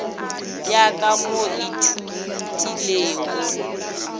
ya ka mo o ithutilego